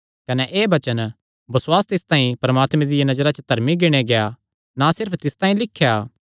कने एह़ वचन बसुआस तिस तांई परमात्मे दिया नजरा च धर्मी गिणेया गेआ ना सिर्फ तिस तांई लिख्या